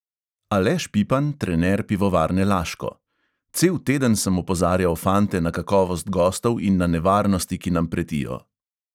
Aleš pipan, trener pivovarne laško: "cel teden sem opozarjal fante na kakovost gostov in na nevarnosti, ki nam pretijo."